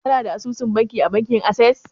Kana da asusun banki a bankin Ases?